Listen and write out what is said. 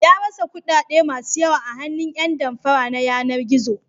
Ya rasa kuɗaɗe masu yawa a hannun ƴan damfara na yanar-gizo.